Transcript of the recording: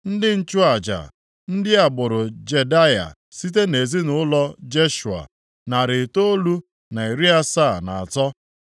Ndị nchụaja: ndị agbụrụ Jedaya site nʼezinaụlọ Jeshua, narị itoolu na iri asaa na atọ (973),